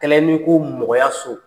A Kɛla n'i ko mɔgɔya so.